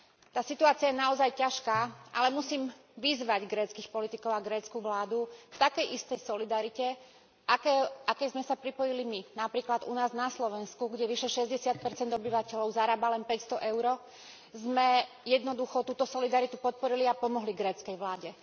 Tá situácia je naozaj ťažká, ale musím vyzvať gréckych politikov a grécku vládu k takej istej solidarite, k akej sme sa pripojili my napríklad u nás na Slovensku, kde vyše 60 obyvateľov zarába len 500 EUR, sme jednoducho túto solidaritu podporili a pomohli gréckej vláde.